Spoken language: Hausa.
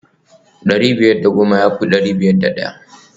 dari biyar da goma ya fi dari biyar da daya